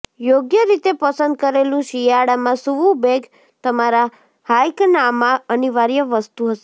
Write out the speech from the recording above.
યોગ્ય રીતે પસંદ કરેલું શિયાળામાં સૂવું બેગ તમારા હાઇકનાંમાં અનિવાર્ય વસ્તુ હશે